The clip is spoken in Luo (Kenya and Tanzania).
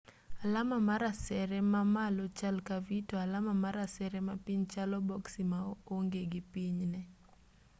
alama mar asere ma malo chal ka v to alama mar asere mapiny chalo boksi ma onge gi pinyne